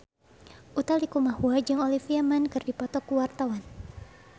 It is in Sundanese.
Utha Likumahua jeung Olivia Munn keur dipoto ku wartawan